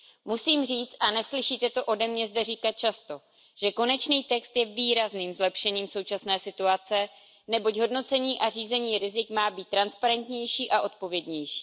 Musím říci a neslyšíte to ode mě zde říkat často, že konečný text je výrazným zlepšením současné situace, neboť hodnocení a řízení rizik má být transparentnější a odpovědnější.